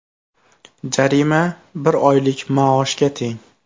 Jarima bir oylik maoshga teng.